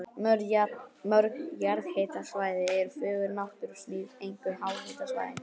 Mörg jarðhitasvæði eru fögur náttúrusmíð, einkum háhitasvæðin.